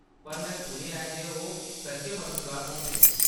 पर, में सुनेआ ऐ जे ओह्‌‌ सच्चैं मददगार होंदे न।